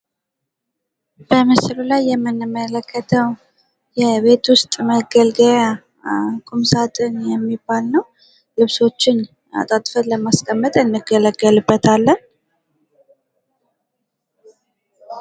በምስሉ ላይ የምንመለከተው የቤት ዉስጥ መገልገያ ቁምሳጥን የሚባል ነው:: ልብሶችን አጣጥፈን ለማስቀመጥ እንገለገልበታለን::